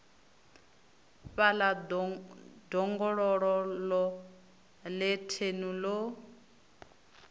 fhaḽa ḓongololo ḽe thenu ḽo